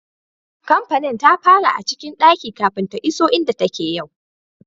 Kampanin ta fara a cikin daki kafin ta iso inda take yau.